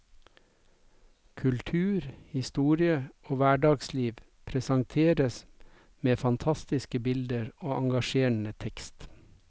Kultur, historie og hverdagsliv presenteres med fantastiske bilder og engasjerende tekst.